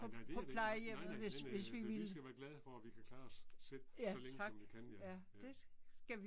Nej nej det er der ikke. Nej nej men altså vi skal være glade for at vi kan klare os selv så længe som vi kan ja. Ja